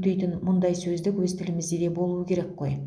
өтейтін мұндай сөздік өз тілімізде де болуы керек қой